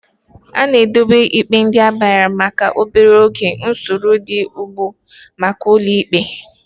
A na-edobe ikpe ndị agbagharịrị maka obere oge n'usoro dị ugbu a n'ụlọ ikpe.